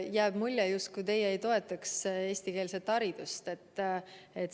Jääb mulje, justkui teie ei toetaks eestikeelset haridust.